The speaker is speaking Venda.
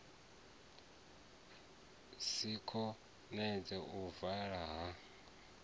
si konadzee u vala ha